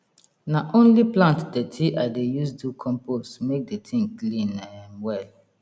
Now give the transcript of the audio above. na only plant dirty i dey use do compost make the thing clean um well